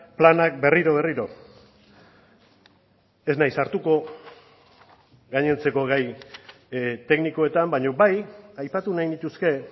planak berriro berriro ez naiz sartuko gainontzeko gai teknikoetan baina bai aipatu nahi nituzke